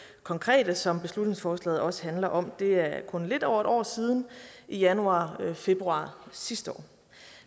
konkrete som beslutningsforslaget også handler om det er kun lidt over et år siden i januar februar sidste år